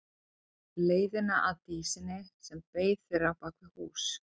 Leiðina að Dísinni sem beið þeirra á bak við hús.